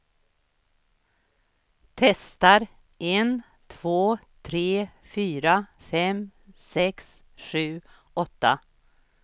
Testar en två tre fyra fem sex sju åtta.